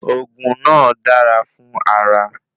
Òògùn náà dara fun ara